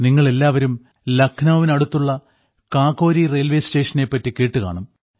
നിങ്ങളെല്ലാവരും ലഖ്നൌവിന് അടുത്തുള്ള കാകോരി റെയിൽവേ സ്റ്റേഷനെപ്പറ്റി കേട്ടുകാണും